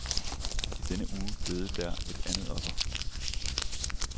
I denne uge døde der et andet offer.